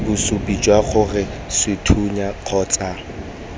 bosupi jwa gore sethunya kgotsa